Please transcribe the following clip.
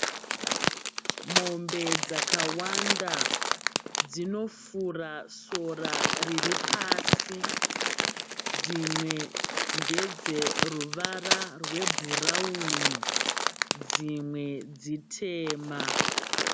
Mombe dzakawanda dzinofura sora riripasi. Dzimwe ndedzeruvara rwebhurauni, dzimwe dzitema.